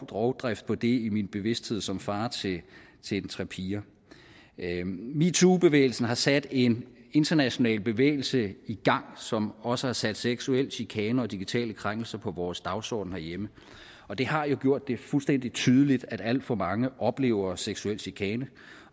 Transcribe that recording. rovdrift på det i min bevidsthed som far til tre piger meetoobevægelsen har sat en international bevægelse i gang som også har sat seksuel chikane og digitale krænkelser på vores dagsorden herhjemme og det har jo gjort det fuldstændig tydeligt at alt for mange oplever seksuel chikane